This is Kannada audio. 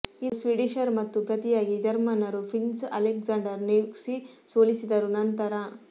ಇದು ಸ್ವೀಡಿಷರು ಮತ್ತು ಪ್ರತಿಯಾಗಿ ಜರ್ಮನ್ನರು ಪ್ರಿನ್ಸ್ ಅಲೆಕ್ಸಾಂಡರ್ ನೆವ್ಸ್ಕಿ ಸೋಲಿಸಿದರು ನಂತರ